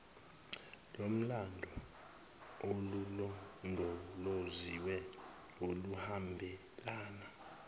lomlando olulondoloziwe oluhambelana